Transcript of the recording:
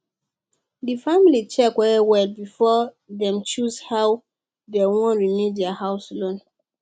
di family check wellwell before dem choose how dem wan renew their house loan